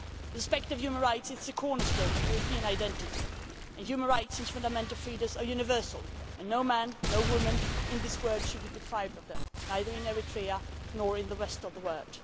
Respect for human rights is the cornerstone of European identity and human rights and fundamental freedoms are universal and no man, no woman in this world should be deprived of them, neither in Eritrea nor in the rest of the world.